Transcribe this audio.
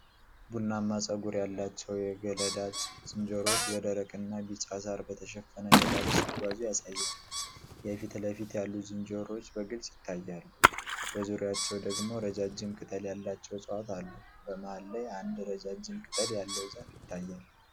ቡናማ ፀጉር ያላቸው የገላዳ ዝንጀሮዎች በደረቅ እና ቢጫ ሳር በተሸፈነ ሜዳ ላይ ሲጓዙ ያሳያል። የፊት ለፊት ያሉት ዝንጀሮዎች በግልጽ ይታያሉ፤ በዙሪያቸው ደግሞ ረጃጅም ቅጠል ያላቸው እፅዋት አሉ። በመሃል ላይ አንድ ረጃጅም ቅጠል ያለው ዛፍ ይታያል።